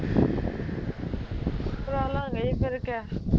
ਕਰਾਲਾਂਗੇ ਜੀ ਫਿਰ ਕਿਆ